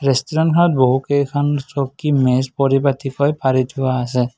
তেষ্টোৰেন্তখনত বহু কেইখন চকী মেজ পৰিপাতিকৈ পাৰি থোৱা আছে।